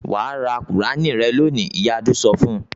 "Wà á ra Kùránì rẹ lónìí!" Ìyá Adu sọ fún un.